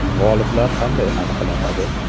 G‘oliblar qanday aniqlanadi?